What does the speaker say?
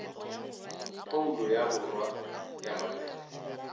phoulo ya borwa ya maknete